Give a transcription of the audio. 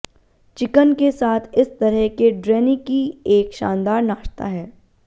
chicken के साथ इस तरह के ड्रैनीकी एक शानदार नाश्ता है